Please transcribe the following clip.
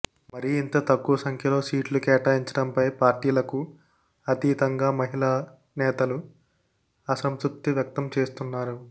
మరీ ఇంత తక్కు వ సంఖ్యలో సీట్లు కేటాయించడంపై పార్టీలకు అతీతంగా మహిళా నేతలు అసంతృప్తి వ్యక్తం చేస్తున్నారు